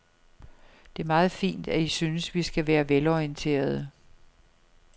Det er meget fint, at I synes, vi skal være velorienterede.